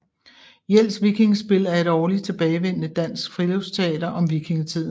Jels Vikingespil er et årligt tilbagevendende dansk friluftsteater om vikingetiden